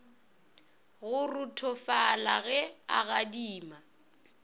go ruthofala ge a gadima